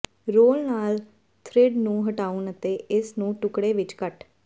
role ਨਾਲ thread ਨੂੰ ਹਟਾਉਣ ਅਤੇ ਇਸ ਨੂੰ ਟੁਕੜੇ ਵਿੱਚ ਕੱਟ